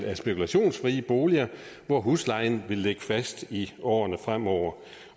er spekulationsfrie boliger hvor huslejen vil ligge fast i årene fremover